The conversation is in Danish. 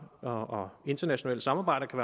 og og internationale samarbejder kan